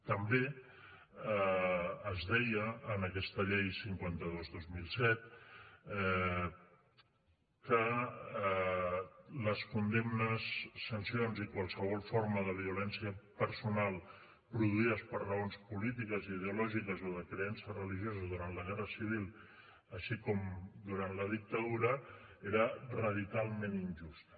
també es deia en aquesta llei cinquanta dos dos mil set que les condemnes sancions i qualsevol forma de violència personal produïdes per raons polítiques ideològiques o de creença religiosa durant la guerra civil així com durant la dictadura era radicalment injusta